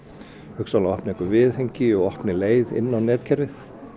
hugsanlega opni eitthvað viðhengi og opni leið inn á vefkerfið